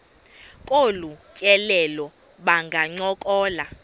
kolu tyelelo bangancokola